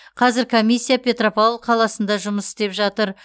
қазір комиссия петропавл қаласында жұмыс істеп жатыр